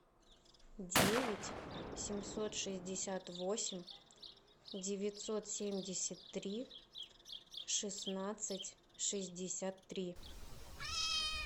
девять семьсот шестьдесят восемь девятьсот семьдесят три шестнадцать шестьдесят три